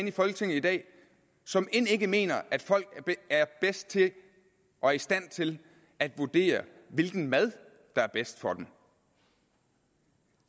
i folketinget i dag som end ikke mener at folk er bedst til og i stand til at vurdere hvilken mad der er bedst for dem